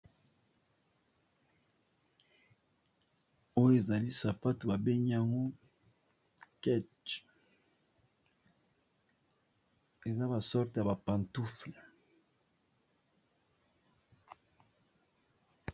oyo ezali sapato babengi yango kache eza basorte ya bapantoufle